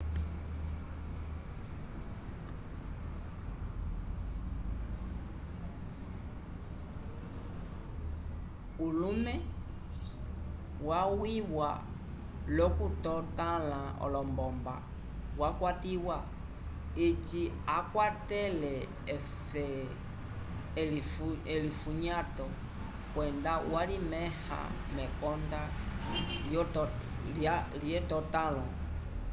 ulumw wamwĩwa l'okutotãla olombomba wakwatiwa eci akwatele elifunyato kwenda walimẽha mekonda lyetotãlo